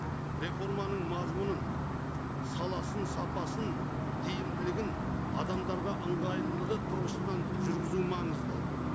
реформаның мазмұның саласын сапасын тиімділігін адамдарға ыңғайлылығы тұрғысынан жүргізу маңызды